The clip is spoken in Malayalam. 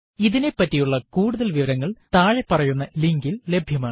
ഇതിനെപ്പറ്റിയുള്ള കൂടുതല് വിവരങ്ങള് താഴെ പറയുന്ന ലിങ്കിൽ ലഭ്യമാണ്